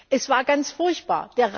Es war ganz furchtbar.